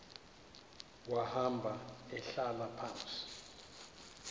wahamba ehlala phantsi